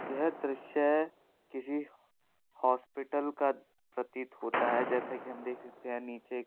यह दृश्य किसी हॉस्पिटल का प्रतीत होता है जैसा कि हम देख सकते हैं नीचे--